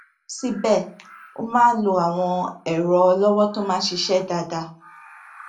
síbè ó máa ń lo àwọn èrọ ọlọwọ tó máa ń ṣiṣé dáadáa